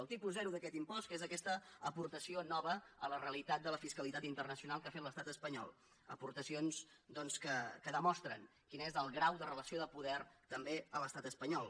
el tipus zero d’aquest impost que és aquesta aportació nova a la realitat de la fiscalitat internacional que ha fet l’estat espanyol aportacions doncs que demostren quin és el grau de relació de poder també a l’estat espanyol